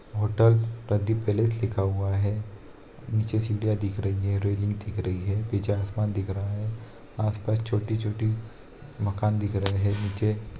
hotel Pradeep palace लिखा हुआ है नीचे सीढ़ियां दिख रही है रेलिंग दिख रही है पीछे आसमान दिख रहा हैं आस-पास छोटी-छोटी मकान दिख रहे है नीचे --